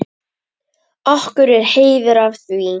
Okkur er heiður af því.